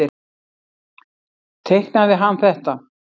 Teiknaði hann þetta?